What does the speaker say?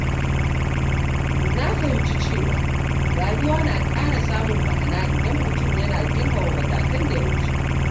Na fahimci cewa rayuwa na ƙara samun ma’ana idan mutum yana girmama matakan da ya wuce.